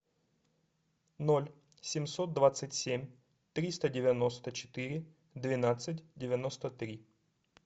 ноль семьсот двадцать семь триста девяносто четыре двенадцать девяносто три